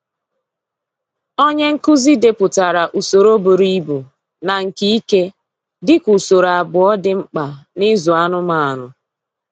Onye nkụzi depụtara usoro buru ibu na nke ike dị ka usoro abụọ dị mkpa na-ịzụ anụmanụ.